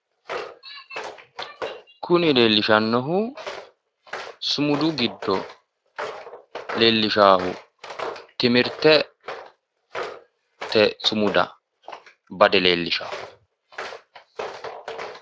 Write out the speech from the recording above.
Kuni leellishannohu sumudu giddo leellishaahu timirtete sumuda bade leellishawo.